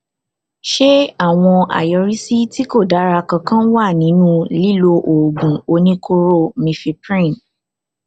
ṣé àwọn àyọrísí tí kò dára kankan wà nínú lílo oògùn oníkóró mifeprin